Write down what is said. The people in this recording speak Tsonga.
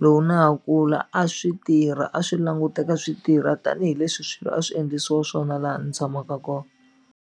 loko na ha kula a swi tirha a swi languteka swi tirha tanihileswi swilo a swi endlisiwa swona laha ni tshamaka .